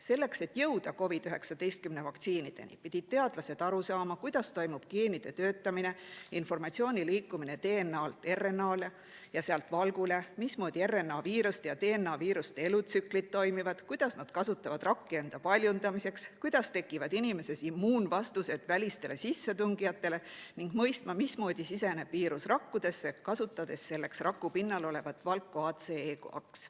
Selleks, et jõuda COVID‑19 vaktsiinideni, pidid teadlased aru saama, kuidas toimub geenide töötamine, informatsiooni liikumine DNA‑lt RNA‑le ja sealt valgule, mismoodi RNA‑viiruste ja DNA‑viiruste elutsüklid toimivad, kuidas nad kasutavad rakke enda paljundamiseks, kuidas tekivad inimeses immuunvastused välistele sissetungijatele, ning mõistma, mismoodi siseneb viirus rakkudesse, kasutades selleks raku pinnal olevat valku ACE2.